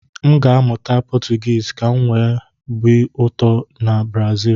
M ga-amụta Potugisi kam wee nwe obi ụtọ ibi na Brazil